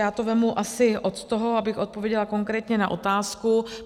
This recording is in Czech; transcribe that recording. Já to vezmu asi od toho, abych odpověděla konkrétně na otázku.